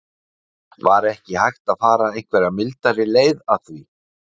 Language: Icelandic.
Lára: Var ekki hægt að fara einhverja mildari leið að því?